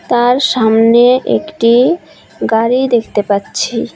তার সামনে একটি গাড়ি দেখতে পাচ্ছি।